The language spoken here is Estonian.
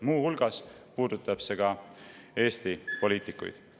Muu hulgas puudutab see Eesti poliitikuid.